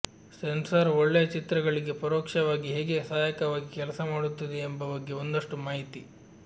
sensor ಒಳ್ಳೆಯ ಚಿತ್ರಗಳಿಗೆ ಪರೋಕ್ಷವಾಗಿ ಹೇಗೆ ಸಹಾಯಕವಾಗಿ ಕೆಲಸ ಮಾಡುತ್ತದೆ ಎಂಬ ಬಗ್ಗೆ ಒಂದಷ್ಟು ಮಾಹಿತಿ